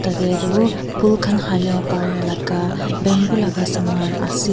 Yateh tuh phool khan halivo parya laga bamboo laga saman ase.